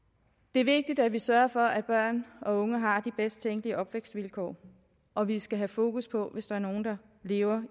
det er vigtigt at vi sørger for at børn og unge har de bedst tænkelige opvækstvilkår og vi skal have fokus på det hvis der er nogle der lever